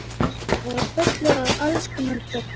Þeir voru fullir af alls kyns dóti.